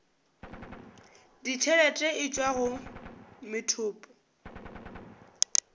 ditšhelete e tšwa go methopo